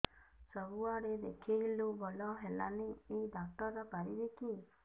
ସବୁଆଡେ ଦେଖେଇଲୁ ଭଲ ହେଲାନି ଏଇ ଡ଼ାକ୍ତର ପାରିବେ କି